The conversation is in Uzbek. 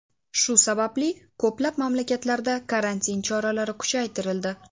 Shu sababli ko‘plab mamlakatlarda karantin choralari kuchaytirildi.